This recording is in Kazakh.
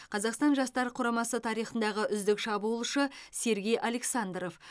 қазақстан жастар құрамасы тарихындағы үздік шабуылшы сергей александров